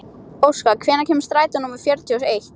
Óskar, hvenær kemur strætó númer fjörutíu og eitt?